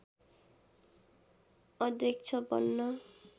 अध्यक्ष बन्न